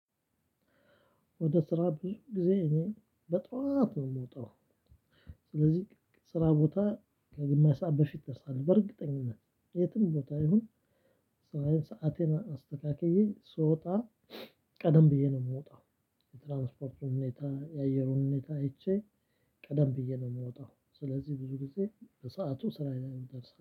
ወደ ስራ ብዙ ጊዜ እኔ በጧት ነው የምወጣው። ስለዚህ ስራ ቦታ ከግማሽ ሰዓት በፊት ደርሳል በእርግጠኝነት የትም ቦታ ይሁን። ሰአቴን አስተካክዬ ስወጣ ቀደም ብዬ ነው የምወጣው። የትራንስፖርት ሁኔታ የአየሩን ሁኔታ አይቼ ቀደም ብዬ ነው የምወጣው። ስለዚህ ብዙ ጊዜ በሰአቱ ስራዬ ላይ እደርሳለው